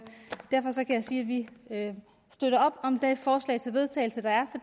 sige at vi støtter op om det forslag til vedtagelse der er